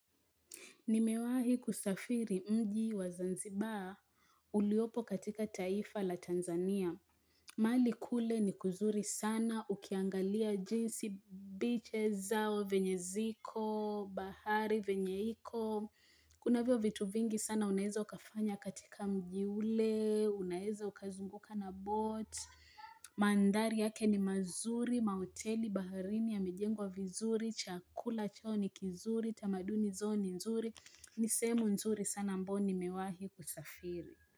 Nimewahi kusafiri mji wa zanzibar uliopo katika taifa la Tanzania. Mahali kule ni kuzuri sana, ukiangalia jinsi beaches zao venye ziko bahari, venye iko. Kunavyo vitu vingi sana unaeza ukafanya katika mji ule, unaeza ukazunguka na boat. Mandhari yake ni mazuri, mahoteli, baharini yamejengwa vizuri, chakula chao ni kizuri, tamaduni zao ni nzuri. Ni sehemu nzuri sana ambayo nimewahi kusafiri.